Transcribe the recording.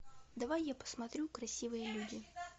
давай я посмотрю красивые люди